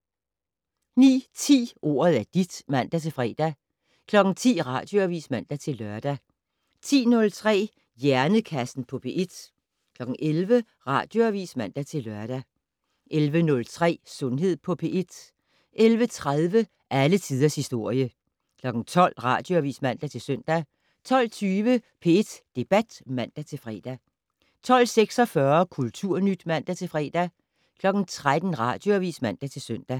09:10: Ordet er dit (man-fre) 10:00: Radioavis (man-lør) 10:03: Hjernekassen på P1 11:00: Radioavis (man-lør) 11:03: Sundhed på P1 11:30: Alle tiders historie 12:00: Radioavis (man-søn) 12:20: P1 Debat (man-fre) 12:46: Kulturnyt (man-fre) 13:00: Radioavis (man-søn)